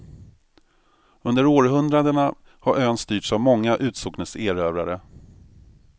Under århundradena har ön styrts av många utsocknes erövrare.